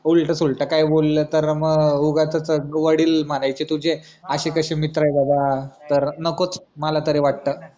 उलट सुलट काही बोललं तर म उगाचच वडील मारायचे तुझे अशे कशे मित्र आहे दादा तर नकोच मला तरी वाटत